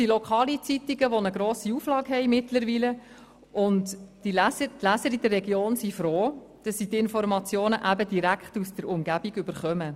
Dies sind lokale Zeitungen, die mittlerweile eine grosse Auflage haben, und die Leserinnen und Leser in der Region sind froh, dass sie ihre Informationen eben direkt aus der Umgebung erhalten.